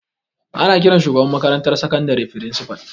Ana ƙiran shugaban makarantar sakandare firisipal